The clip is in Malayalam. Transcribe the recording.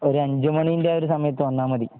ഒരു അഞ്ച് മണിന്റെ ആ ഒരു സമയത്ത് വന്നാൽ മതി